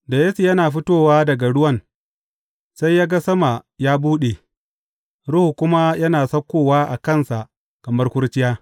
Da Yesu yana fitowa daga ruwan, sai ya ga sama ya buɗe, Ruhu kuma yana saukowa a kansa kamar kurciya.